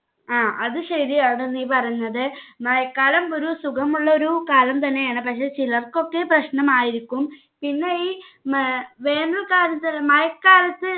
ആ അത് ശെരിയാണ് നീ പറഞ്ഞത് മഴക്കാലം ഒരു സുഖമുള്ളൊരു കാലം തന്നെയാണ് പക്ഷെ ചിലർക്കൊക്കെ പ്രശ്നമായിരിക്കും പിന്നെ ഇ ഉം ഏർ വേനൽക്കാലത്ത് മഴക്കാലത്ത്